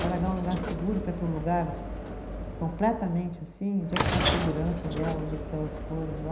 Vai largar um lugar seguro, para ir para um lugar completamente assim, onde é que está a segurança dela, onde é que estão as coisas lá.